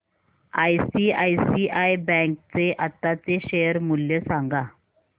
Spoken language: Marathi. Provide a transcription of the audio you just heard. आयसीआयसीआय बँक चे आताचे शेअर मूल्य सांगा